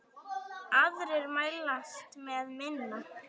Aðrir mælast með minna.